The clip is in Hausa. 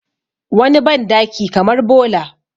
wani bandaki kamar bola